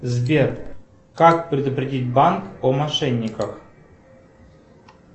сбер как предупредить банк о мошенниках